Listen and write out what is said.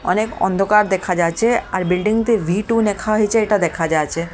অনেক অন্ধকার দেখা যাচ্ছে আর বিল্ডিং তে ভি টু লেখা হয়েছে এটা দেখা যাচ্ছে।